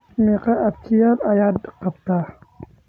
Meqo abtiyaal ayaad gabtaa?